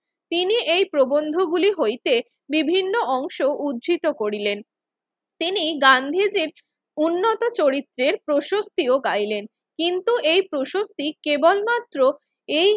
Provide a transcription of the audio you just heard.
তিনি এই প্রবন্ধগুলি হইতে বিভিন্ন অংশ উদ্ধৃত করিলেন। তিনি গান্ধীজির উন্নত চরিত্রের প্রশস্তিও গাইলেন। কিন্তু এই প্রশস্তি কেবলমাত্র এই